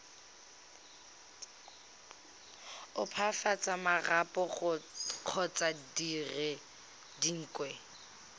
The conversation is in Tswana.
opafatsa marapo kgotsa dire dingwe